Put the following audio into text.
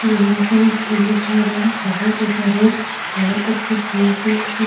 गेंदा का भी फुल दिखाई दे रहा है । बहुत अच्छे रोज बहुत अच्छी फूल थे उसमे |